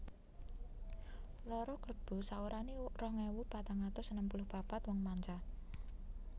Loro Klebu saorané rong ewu patang atus enem puluh papat wong manca